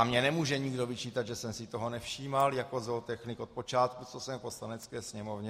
A mně nemůže nikdo vyčítat, že jsem si toho nevšímal jako zootechnik od počátku, co jsem v Poslanecké sněmovně.